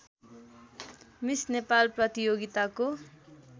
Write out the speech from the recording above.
miss Nepal प्रतियोगिताको